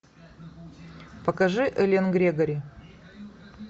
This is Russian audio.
покажи эллен грегори